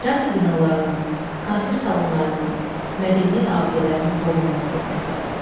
Teatr binalarının, konsert salonlarının, mədəniyyət abidələrinin qorunması və sair.